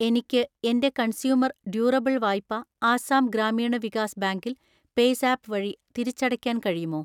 എനിക്ക് എൻ്റെ consumer durable വായ്പ ആസാം ഗ്രാമീണ വികാസ് ബാങ്കിൽ പേയ്‌സാപ്പ് വഴി തിരിച്ചടയ്ക്കാൻ കഴിയുമോ?